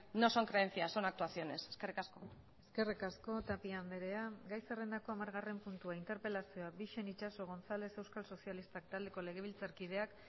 no son creencias son actuaciones eskerrik asko eskerrik asko tapia andrea gai zerrendako hamargarren puntua interpelazioa bixen itxaso gonzález euskal sozialistak taldeko legebiltzarkideak